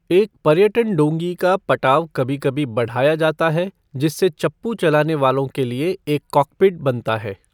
एक पर्यटन डोंगी का पटाव कभी कभी बढ़ाया जाता है जिससे चप्पू चलाने वालों के लिए एक 'कॉकपिट' बनता है।